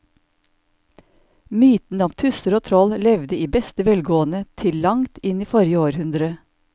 Mytene om tusser og troll levde i beste velgående til langt inn i forrige århundre.